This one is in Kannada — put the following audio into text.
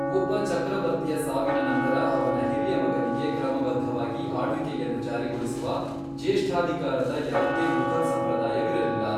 ಒಬ್ಬ ಚಕ್ರವರ್ತಿಯ ಸಾವಿನ ನಂತರ ಅವನ ಹಿರಿಯ ಮಗನಿಗೆ ಕ್ರಮಬದ್ಧವಾಗಿ ಆಳ್ವಿಕೆಯನ್ನು ಜಾರಿಗೊಳಿಸುವ, ಜ್ಯೇಷ್ಠಾಧಿಕಾರದ ಯಾವುದೇ ಮುಘಲ್ ಸಂಪ್ರದಾಯವಿರಲಿಲ್ಲ.